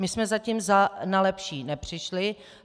My jsme zatím na lepší nepřišli.